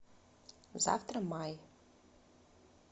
завтра май